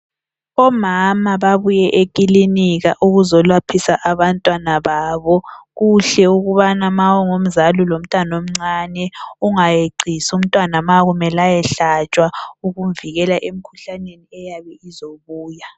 Omama babuye ekilinika ukuzolaphisa abantwana babo. Kuhle ukubana ma ungumzali ulomntwana omncane ungayeqisi umntwana makumele ayehlatshwa , ukumvikela emkhuhlaneni eyabe izobuya.